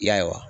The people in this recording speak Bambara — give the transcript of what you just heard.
I y'a ye wa